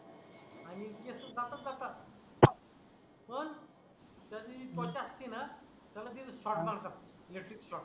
आणि केस बातच जातात पण त्याची जे त्वचा असते णा त्याला तिथ shot मारतात electric shot